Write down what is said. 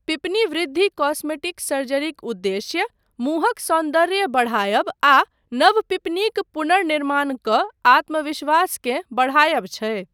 पीपनी वृद्धि कॉस्मेटिक सर्जरीक उद्देश्य मुँहक सौन्दर्य बढ़ायब आ नव पीपनीक पुनर्निमाण कऽ आत्मविश्वासकेँ बढ़ायब छै।